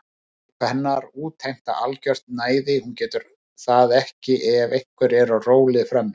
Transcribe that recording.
Óp hennar útheimta algert næði, hún getur það ekki ef einhver er á róli frammi.